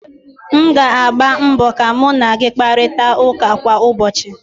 m ga-agba mbọ ka mu na gị kparịta ụka kwa ụbọchị